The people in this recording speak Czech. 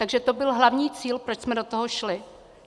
Takže to byl hlavní cíl, proč jsme do toho šli.